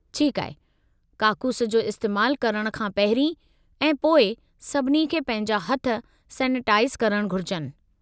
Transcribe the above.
ठीकु आहे! काकूसु जो इस्तेमालु करणु सां पहिरीं ऐं पोइ सभिनी खे पंहिंजा हथ सैनिटाइज़ करणु घुर्जनि।